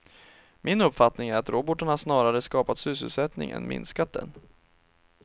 Min uppfattning är att robotarna snarare skapat sysselsättning än minskat den.